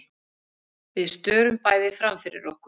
Við störum bæði framfyrir okkur.